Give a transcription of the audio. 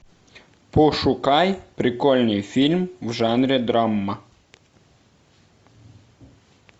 пошукай прикольный фильм в жанре драма